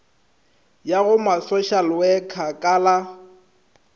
ya go masošalewekha ka la